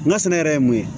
N ka sɛnɛ yɛrɛ ye mun ye